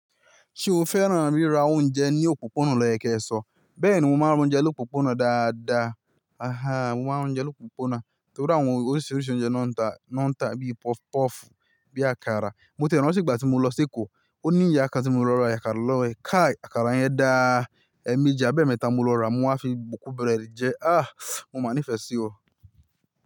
Ṣé o fẹ́ràn ríra oúnjẹ ní òpópónà loye kẹ́sọ̀? Bẹ́ẹ̀ni, mo máa ń roúnjẹ lópópónà dáadáa. Aha, mo máa ń roúnjẹ lópópónà, torí àwọn oríṣiríṣi oúnjẹ náà ń tà, náà ń tà bíi pọfupọ́ọ̀fù, bíi àkàrà. Mo tié ranti ìgbà tí mo lọ sí Èkó, ó ní ìyá kàn tí mo lọ ra àkàrà lọ ẹ̀. Káí! Àkàrà yẹn dáá, ẹ́ méjì abẹ́ẹ̀mẹ́ta mo lọ rà, mo á fi bokú búrẹ́dì jẹ. Ah! Mo máa nífẹ̀ẹ́ sí ọ.